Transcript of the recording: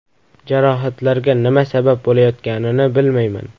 Jarohatlarga nima sabab bo‘layotganini bilmayman.